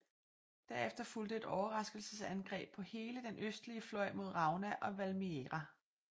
Derefter fulgte et overraskelsesangreb på hele den østlige fløj mod Rauna og Valmiera